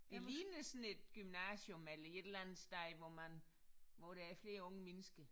Det ligner sådan et gymnasium eller et eller andet sted hvor man hvor der er flere unge mennesker